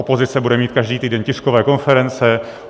Opozice bude mít každý týden tiskové konference.